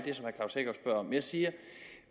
jeg siger